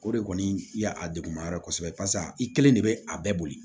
O de kɔni ya a degun ma yɔrɔ kosɛbɛ barisa i kelen de bɛ a bɛɛ boli